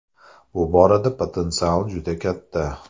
Bu borada potensial juda katta.